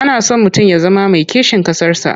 Ana so mutum ya zama mai kishin ƙasarsa.